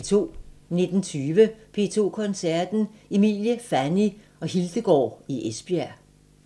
19:20: P2 Koncerten – Emilie, Fanny & Hildegaard i Esbjerg